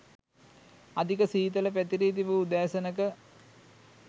අධික සීතල පැතිරී තිබූ උදෑසනක